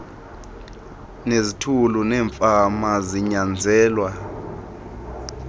nezithulu neemfama kunyanzelwa